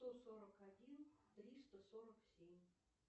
сто сорок один триста сорок семь